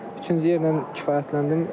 Üçüncü yerlə kifayətləndim.